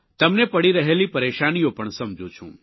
તમને પડી રહેલી પરેશાનીઓ પણ સમજું છું